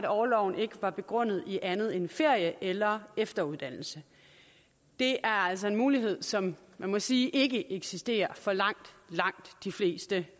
orloven ikke var begrundet i andet end ferie eller efteruddannelse det er altså en mulighed som man må sige ikke eksisterer for langt langt de fleste